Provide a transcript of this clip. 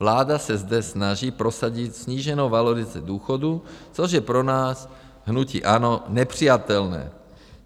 Vláda se zde snaží prosadit sníženou valorizaci důchodů, což je pro nás, hnutí ANO, nepřijatelné.